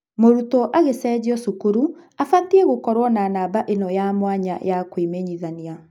mũrutwo agĩcenjio cukuru abatie gũkorwo na namba ĩno ya mwanya ya kwĩmenyithania.